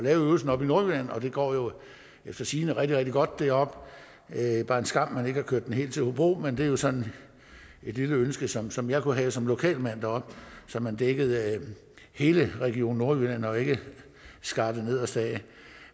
øvelsen oppe i nordjylland og det går efter sigende rigtig rigtig godt deroppe det er bare en skam at man ikke har kørt den helt til hobro men det er jo sådan et lille ønske som som jeg kunne have som lokal mand deroppe så man dækkede hele region nordjylland og ikke skar det nederste af